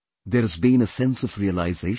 There has been a sense of realisation